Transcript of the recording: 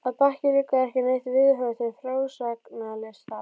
Að baki liggur ekki neitt viðhorf til frásagnarlistar.